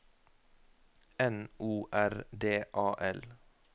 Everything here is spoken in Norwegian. N O R D A L